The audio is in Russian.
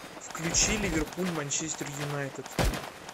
включи ливерпуль манчестер юнайтед